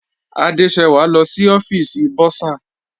Adesewa lọ sí ọ́fìsì bursar.